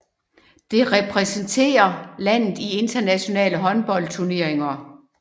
Det repræsenterer landet i internationale håndboldturneringer